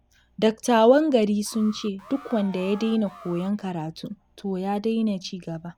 Dattawan gari sun ce, duk wanda ya daina koyon karatu, to ya daina cigaba.